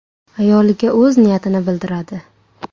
Ayoliga o‘z niyatini bildiradi.